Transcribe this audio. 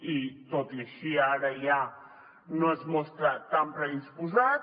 i tot i així ara ja no s’hi mostra tan predisposat